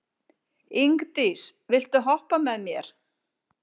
Ingdís, viltu hoppa með mér?